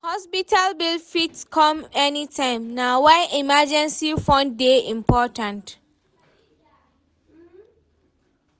Hospital bill fit come anytime, na why emergency fund dey important.